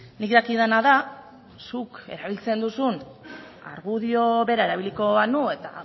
nik dakidana da zuk erabiltzen duzun argudio bera erabiliko banu eta